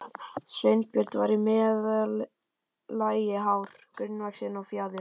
Sveinbjörn var í meðallagi hár, grannvaxinn og fjaður